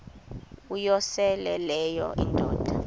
uyosele leyo indoda